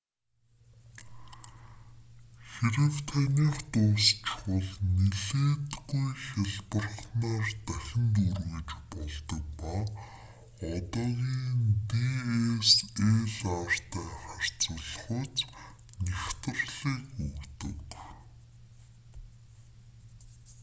хэрэв таных дуусчихвал нэлээдгүй хялбарханаар дахин дүүргэж болдог ба одоогийн dslr-тай харьцуулахуйц нягтралыг өгдөг